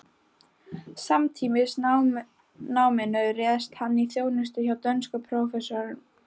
Samtímis náminu réðst hann í þjónustu hjá dönskum prófessor